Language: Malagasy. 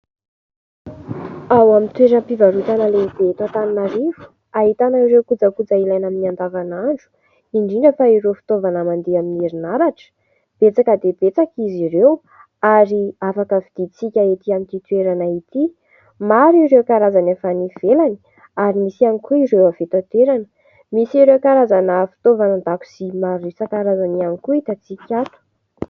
Ao amin'ny toeram-pivarotana lehibe eto Antananarivo. Ahitana ireo kojakoja ilaina amin'ny andavanandro indrindra fa ireo fitaovana mandeha amin'ny herinaratra ; betsaka dia betsaka izy ireo ary afaka vidintsika ety an'ity toerana ity. Maro ireo karazany efa any ivelany ary nisy ihany koa ireo avy eto an-toerana misy ireo karazana fitaovan-dakozia maro isan-karazany ihany koa hitantsika ato.